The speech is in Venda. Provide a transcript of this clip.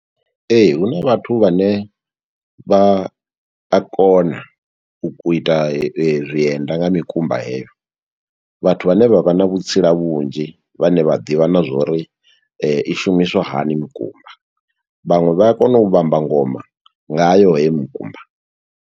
Ee, huna vhathu vhane vha a kona u ku ita zwienda nga mikumba heyo. Vhathu vhane vha vha na vhutsila vhunzhi, vhane vha ḓivha na zwo uri i shumiswa hani mikumba, vhaṅwe vha a kona u vhamba ngoma ngayo hei mukumba.